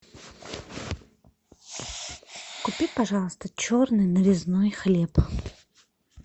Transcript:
купи пожалуйста черный нарезной хлеб